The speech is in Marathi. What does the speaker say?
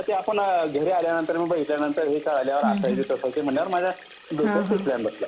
मग येत आपण घरी आल्यावर बघितल्यावर असय तसं म्हटल्यावर मग मला डोक्यात तो प्लॅन बसला